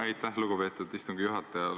Aitäh, lugupeetud istungi juhataja!